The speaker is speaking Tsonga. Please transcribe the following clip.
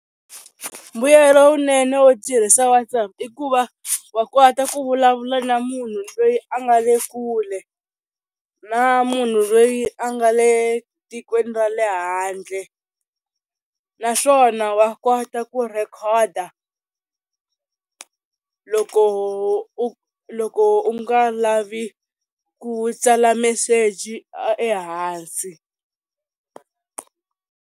Mbuyelo wunene wo tirhisa WhatsApp i ku va wa kota ku vulavula na munhu loyi a nga le kule na munhu loyi a nga le tikweni ra le handle naswona wa kota ku rhekhoda loko u loko u nga lavi ku tsala meseji ehansi.